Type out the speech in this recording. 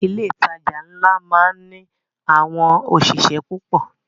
Ilé ìtajà ńlá máá ń ní àwọn òṣìṣẹ́ púpọ̀